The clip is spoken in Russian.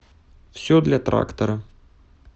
все для трактора